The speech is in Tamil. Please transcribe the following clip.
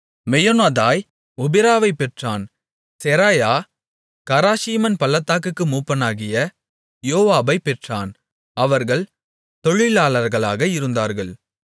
மெயோனத்தாய் ஒபிராவைப் பெற்றான் செராயா கராஷீமன் பள்ளத்தாக்குக்கு மூப்பனாகிய யோவாபைப் பெற்றான் அவர்கள் தொழிலாளர்களாக இருந்தார்கள்